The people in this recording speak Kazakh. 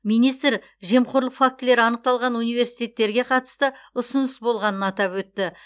министр жемқорлық фактілері анықталған университеттерге қатысты ұсыныс болғанын атап өтті